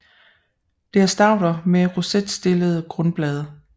Det er stauder med rosetstillede grundblade